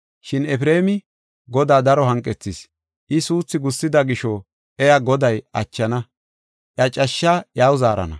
Shin Efreemi Godaa daro hanqethis; I suuthi gussida gisho iya Goday achana; iya cashshaa iyaw zaarana.